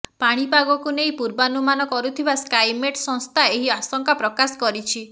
ପାଣିପାଗକୁ ନେଇ ପୂର୍ବାନୁମାନ କରୁଥିବା ସ୍କାଇମେଟ୍ ସଂସ୍ଥା ଏହି ଆଶଙ୍କା ପ୍ରକାଶ କରିଛି